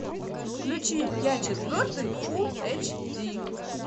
включи я четвертый фул эйч ди